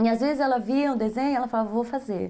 E, às vezes, ela via um desenho e ela falava, vou fazer.